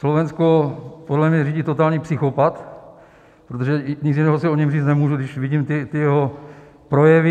Slovensko podle mě řídí totální psychopat, protože nic jiného si o něm říct nemůžu, když vidím ty jeho projevy.